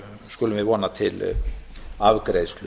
skulum við vona til afgreiðslu